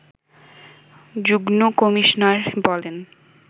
যুগ্ম কমিশনার বলেন